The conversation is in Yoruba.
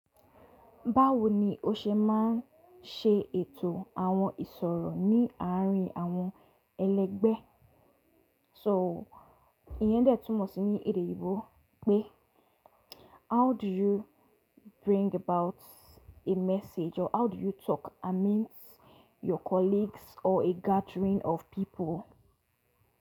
Báwo ni o ṣe máa ń ṣe ètò àwọn ìsọ̀rọ̀ ní àárín àwọn ẹlẹgbẹ́? So, ìyẹn dẹ̀ tún mọ̀ sí ní èdè Eyinbo pé: how do you bring about a message or how do you talk amidst your colleagues or a gathering of people?